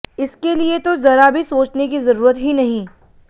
इसके लिए तो जरा भी सोचने की जरूरत ही नहीं